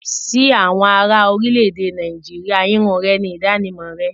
Sí àwọn ará orílẹ̀-èdè Nàìjíríà irun rẹ ni ìdánimọ̀ rẹ.